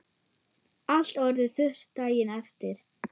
Allt orðið þurrt daginn eftir.